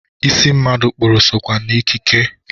Isi mmadụ kpụrụ sokwa n'ekike.